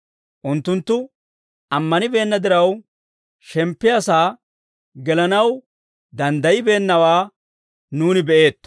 Unttunttu ammanibeenna diraw, shemppiyaa sa'aa gelanaw danddayibeennawaa nuuni be'eetto.